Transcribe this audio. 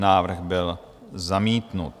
Návrh byl zamítnut.